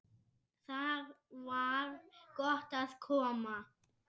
Þar var gott að koma.